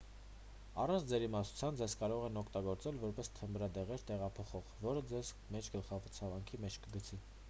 առանց ձեր իմացության ձեզ կարող են օգտագործել որպես թմրադեղեր տեղափոխող որը ձեզ մեծ գլխացավանքի մեջ կգցի